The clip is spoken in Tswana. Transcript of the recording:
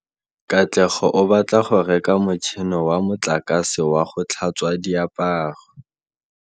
Katlego o batla go reka motšhine wa motlakase wa go tlhatswa diaparo.